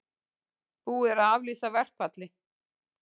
Búið er að aflýsa verkfalli